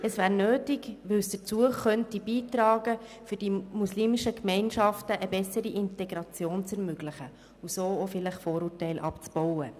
Es wäre nötig, weil sie dazu beitragen könnte, den muslimischen Gemeinschaften eine bessere Integration zu ermöglichen und so vielleicht auch Vorurteile abzubauen.